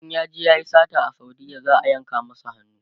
in yaje yayi sata a saudiya za'a yanka masa hannu